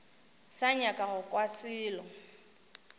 sa nyaka go kwa selo